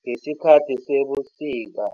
ngesikhathi sebusika